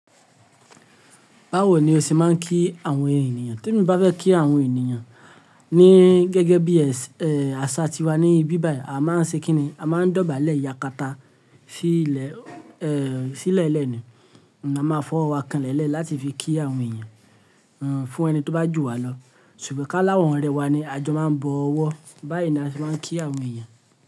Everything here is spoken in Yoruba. Báwo ni o ṣe máa ń kí àwọn ènìyàn? Tí mo bá fẹ́ kí àwọn ènìyàn ní gẹ́gẹ́ bí àṣà tiwa ní ibíbài, a máa ń ṣe kíni a máa ń dọ̀bálẹ̀ ìyàkàtá sílẹ́lẹ̀ ni a máa fọ́ ọwọ́ kan lẹ́lẹ̀ láti fi kí àwọn ènìyàn fún ẹni tó bá jù wá lọ. Ṣùgbọ́n ká láwọn ọ̀rẹ́ wa ni àjọ máa ń bọ ọwọ́ báyìí ni a ṣe máa ń kí àwọn ènìyàn.